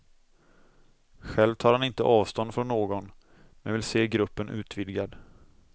Själv tar han inte avstånd från någon, men vill se gruppen utvidgad.